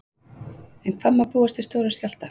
En hvað má búast við stórum skjálfta?